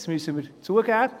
Das müssen wir zugeben.